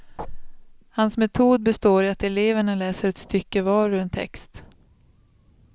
Hans metod består i att eleverna läser ett stycke var ur en text.